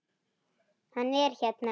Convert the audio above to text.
Hann er hérna.